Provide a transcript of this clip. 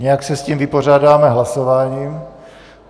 Nějak se s tím vypořádáme hlasováním.